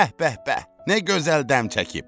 Bəh bəh bəh, nə gözəl dəm çəkib!